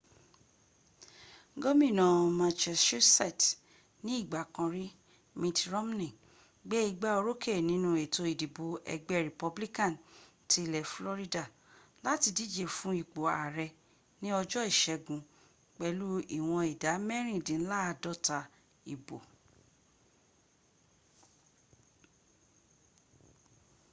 gómínà massachusetts ní ìgbà kan rí mitt romney gbé igbá orókè nínú ètò ìdìbò ẹgbẹ republican ti ilẹ̀ florida láti díje fún ipò ààrẹ ní ọjọ́ ìṣẹ́gun pẹ̀lú ìwọn ìdá mẹ́rìndínláàdọ́ta ìbo